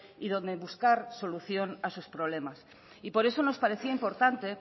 y donde buscar solución a sus problemas por eso nos parecía importante